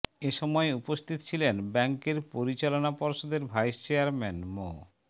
এ সময় উপস্থিত ছিলেন ব্যাংকের পরিচালনা পর্ষদের ভাইস চেয়ারম্যান মো